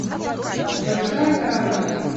большая кража